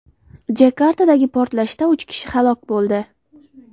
Jakartadagi portlashda uch kishi halok bo‘ldi.